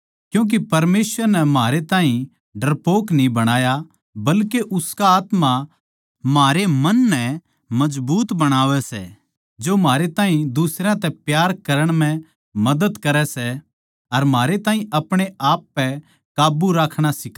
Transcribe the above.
क्यूँके परमेसवर नै म्हारै ताहीं डरपोक न्ही बणाया बल्के उसका आत्मा म्हारे मन मजबूत बणावै सै जो म्हारे ताहीं दुसरयां तै प्यार करण म्ह मदद करै सै अर म्हारे ताहीं अपणे आप पै काब्बू राखणा सिखावै सै